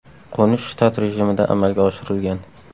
Qo‘nish shtat rejimida amalga oshirilgan.